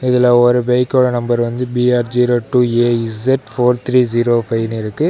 இதுல ஒரு பைக்கோட நம்பர் வந்து B R zero two A Z four three zero ஃபைவ்னு இருக்கு.